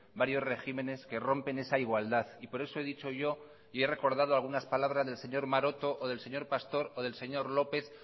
varios regímenes que rompen esa igualdad y por eso he dicho yo y he recordado algunas palabras del señor maroto o del señor pastor o del señor lópez